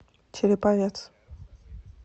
череповец